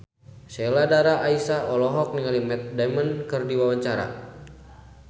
Sheila Dara Aisha olohok ningali Matt Damon keur diwawancara